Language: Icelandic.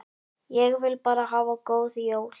Ég vil bara hafa góð jól.